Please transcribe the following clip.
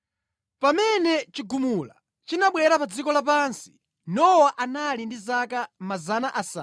Pamene chigumula chinabwera pa dziko lapansi Nowa anali ndi zaka 600.